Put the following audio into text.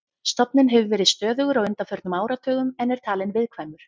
Stofninn hefur verið stöðugur á undanförnum áratugum en er talinn viðkvæmur.